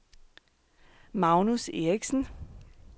Magnus Eriksen